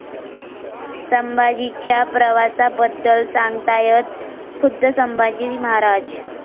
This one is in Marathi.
संभाजी'च्या प्रवासाबद्दल सांगतायत खुद्द संभाजी महाराज